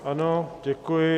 Ano, děkuji.